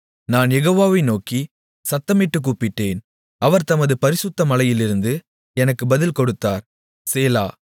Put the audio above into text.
நான் யெகோவா வை நோக்கிச் சத்தமிட்டுக் கூப்பிட்டேன் அவர் தமது பரிசுத்த மலையிலிருந்து எனக்கு பதில் கொடுத்தார் சேலா